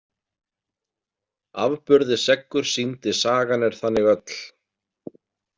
Afburði seggur sýndi sagan er þannig öll.